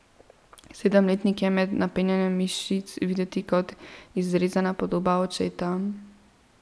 Sedemletnik je med napenjanjem mišic videti kot izrezana podoba očeta.